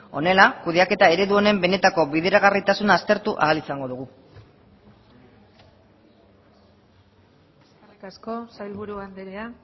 honela kudeaketa eredu honen benetako bideragarritasuna aztertu ahal izango dugu eskerrik asko sailburu andrea